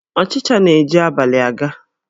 Ọchịcha na-eji abalị a ga